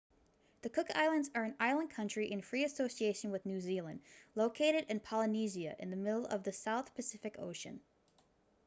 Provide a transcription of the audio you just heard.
the cook islands are an island country in free association with new zealand located in polynesia in the middle of the south pacific ocean